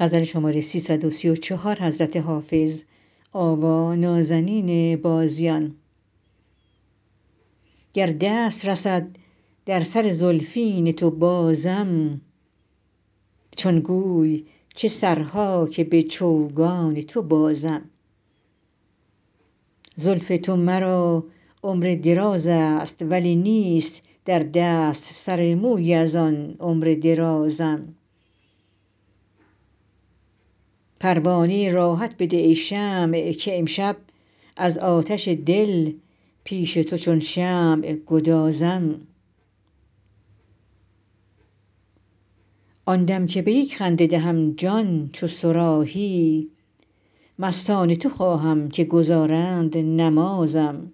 گر دست رسد در سر زلفین تو بازم چون گوی چه سرها که به چوگان تو بازم زلف تو مرا عمر دراز است ولی نیست در دست سر مویی از آن عمر درازم پروانه راحت بده ای شمع که امشب از آتش دل پیش تو چون شمع گدازم آن دم که به یک خنده دهم جان چو صراحی مستان تو خواهم که گزارند نمازم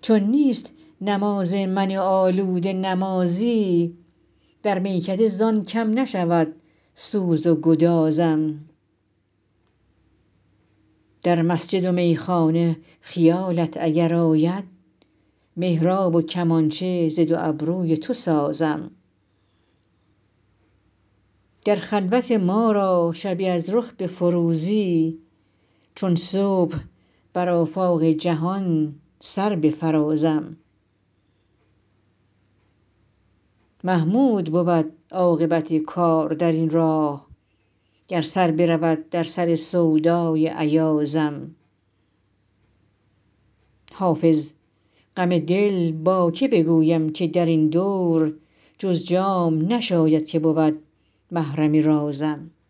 چون نیست نماز من آلوده نمازی در میکده زان کم نشود سوز و گدازم در مسجد و میخانه خیالت اگر آید محراب و کمانچه ز دو ابروی تو سازم گر خلوت ما را شبی از رخ بفروزی چون صبح بر آفاق جهان سر بفرازم محمود بود عاقبت کار در این راه گر سر برود در سر سودای ایازم حافظ غم دل با که بگویم که در این دور جز جام نشاید که بود محرم رازم